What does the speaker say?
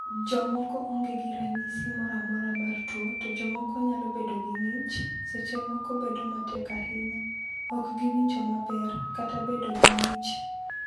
"Jomoko onge gi ranyisi moro amora mar tuo, to jomoko nyalo bedo gi ng’ich (seche moko bedo matek ahinya), ok giwinjo maber, kata bedo gi ng’ich."